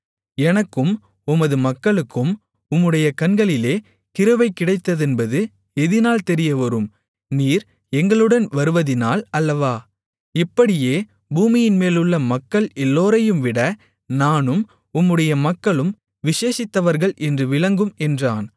எனக்கும் உமது மக்களுக்கும் உம்முடைய கண்களிலே கிருபை கிடைத்ததென்பது எதினால் தெரியவரும் நீர் எங்களுடன் வருவதினால் அல்லவா இப்படியே பூமியின்மேலுள்ள மக்கள் எல்லோரையும்விட நானும் உம்முடைய மக்களும் விசேஷித்தவர்கள் என்று விளங்கும் என்றான்